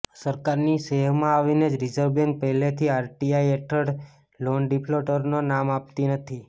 સરકારની શેહમાં આવીને જ રિઝર્વ બેન્ક પહેલેથી આરટીઆઈ હેઠળ લોન ડિફોલ્ટરોના નામ આપતી નથી